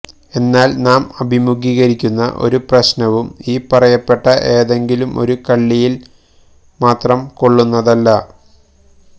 എന്നാല് നാം അഭിമുഖീകരിക്കുന്ന ഒരു പ്രശ്നവും ഈ പറയപ്പെട്ട ഏതെങ്കിലും ഒരു കള്ളിയില് മാത്രം കൊള്ളുന്നതല്ല